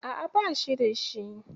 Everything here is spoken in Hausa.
A'a, ba shi da shi.